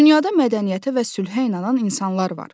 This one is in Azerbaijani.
Dünyada mədəniyyətə və sülhə inanan insanlar var.